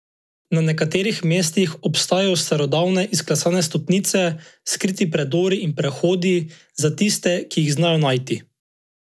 Na nekaterih mestih obstajajo starodavne izklesane stopnice, skriti predori in prehodi za tiste, ki jih znajo najti.